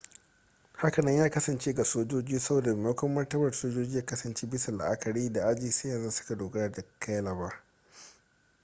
hakanan ya kasance ga sojoji saboda maimakon martaba sojoji ya kasance bisa la'akari da aji sai yanzu suka dogara da cailaber